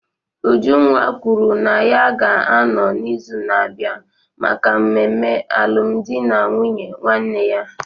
Ujunwa kwuru na ya ga-anọ n'izu na-abịa maka mmemme alụmdi na nwunye nwanne ya.